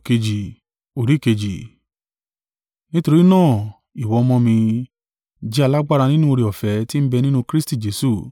Nítorí náà ìwọ ọmọ mi, jẹ́ alágbára nínú oore-ọ̀fẹ́ ti ń bẹ nínú Kristi Jesu.